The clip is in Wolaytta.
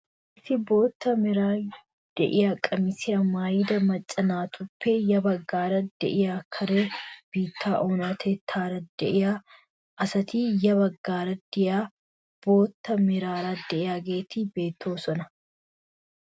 Issi bootta meraara de'iyaa qamisiyaa maayida macca naatuppe ya baggaara de'iyaa kare biittaa oonatettaara de'iyaa asati ya baggaara de'iyaa bootta meraara de'iyaageti beettoosona.